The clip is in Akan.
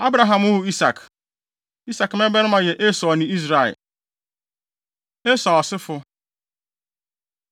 Abraham woo Isak. Isak mmabarima yɛ Esau ne Israel. + 1.34 Israel : Eyi ne din a Onyankopɔn de too Yakob Esau Asefo